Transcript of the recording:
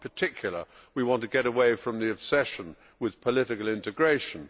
In particular, we want to get away from the obsession with political integration.